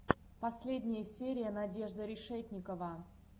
последняя серия надежда решетникова